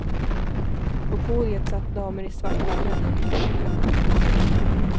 På podiet satt damer i svarta mellanklänningar och herrar i smoking.